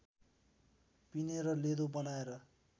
पिनेर लेदो बनाएर